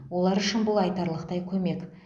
олар үшін бұл айтарлықтай көмек